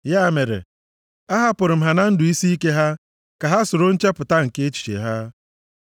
Ya mere, ahapụrụ m ha na ndụ isiike ha, ka ha soro nchepụta nke echiche ha.